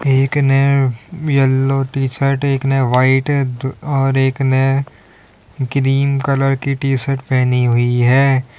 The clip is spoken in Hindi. एक ने येलो टी-शर्ट एक ने व्हाइट दु और एक ने ग्रीन कलर की टी-शर्ट पहनी हुई है।